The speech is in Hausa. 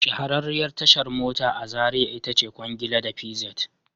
Shahararriyar tashar mota a Zariya ita ce Kwangila da PZed